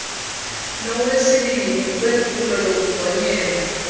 nowesibini wephulo lokugonyela